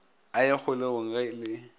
a ye kgolegong ge ke